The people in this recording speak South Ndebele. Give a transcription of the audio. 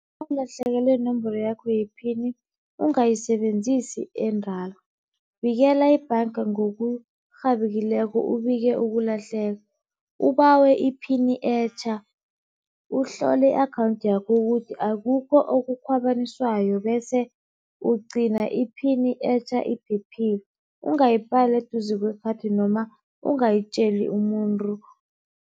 Nawulahlekelwe yinomboro yakho yephini ungayisebenzisi edala, bikela ibhanga ngokurhabekileko ubike ukulahleka, ubawe iphini etjha. Uhlole i-akhawunthi yakho ukuthi akukho okukhwabaniswayo, bese ugcina iphini etjha iphephile ungayibhali eduze kwekhathi noma ungayitjeli umuntu.